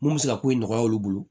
Mun bɛ se ka ko in nɔgɔya olu bolo